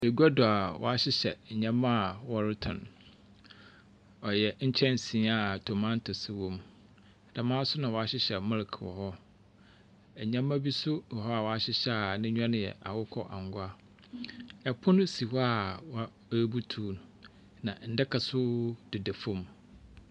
Egua do a wɔahyehyɛ nneɛma a wɔretɔn. Ɔyɛ nkyɛnse a tomatoes wom. Dɛm ara nso na wɔahyehyɛ melek wɔ hɔ. Nneɛma bi nso wɔ hɔ a wɔahyehyɛ a n'enyiwa no yɛ akokɔ angua. Pono si hɔ a wɔabutuw no, na ndaka nso deda fam.